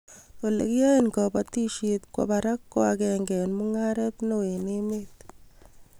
Ole kiyae kabatishet kwo barak ko ag'enge eng mungaret neo eng' emet